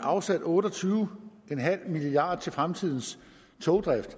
afsat otte og tyve milliard kroner til fremtidens togdrift